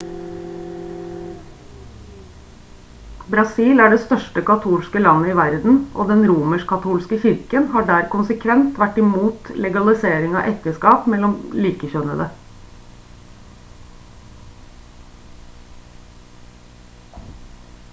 brasil er det største katolske landet i verden og den romersk-katolske kirken har der konsekvent vært imot legalisering av ekteskap mellom likekjønnede